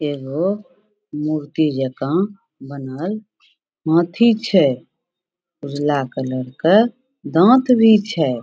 एगो मूर्ति जका बनल हाथी छै उजला कलर के दांत भी छै।